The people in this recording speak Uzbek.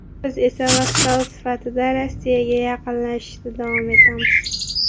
Biz esa vassal sifatida Rossiyaga yaqinlashishda davom etamiz.